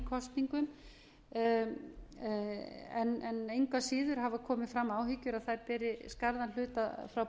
kosningum en engu að síður hafa komið fram áhyggjur að þær beri skarðan hlut frá